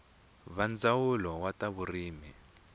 va ndzawulo wa ta vurimi